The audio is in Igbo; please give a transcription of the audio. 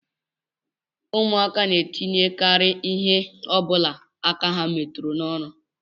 Ụmụaka na-etinyekarị ihe ọ bụla aka ha metụrụ n'ọnụ